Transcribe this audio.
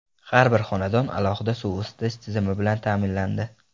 Har bir xonadon alohida suv isitish tizimi bilan ta’minlandi.